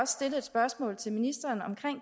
stillet et spørgsmål til ministeren om